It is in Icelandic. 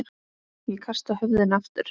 Ég kasta höfðinu aftur.